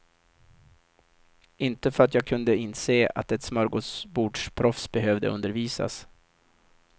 Inte för att jag kunde inse att ett smörgåsbordsproffs behövde undervisas.